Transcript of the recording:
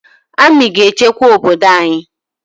Amị ga-echekwa obodo anyị